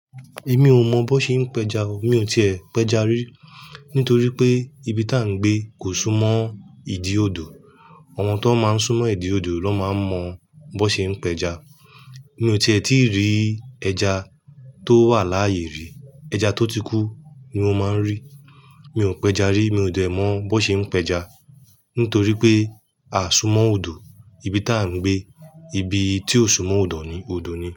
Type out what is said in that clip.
Èmi ò mọ bó ṣe ń pẹja o. Mi ò tíì ẹ́ pẹja rí, nítorí pé ibi tí à ń gbé kò súnmọ́ ìdi odò. Àwọn tọn máa ń súnmọ́ ìdi odò ló máa ń mọ bó ṣe ń pẹja. Mi ò tí ẹ tíì rí ẹja tó wà láyé rí. Ẹja tó ti kú ni mo máa ń rí. Mi ò pẹja rí. Mi ò dẹ̀ mọ bó ṣe ń pẹja nítorí pé a ò súnmọ́ odò. Ibi tí à ń gbé, ibi tí ò súnmọ́ odò ni, odò ni.